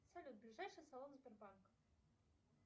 салют ближайший салон сбербанка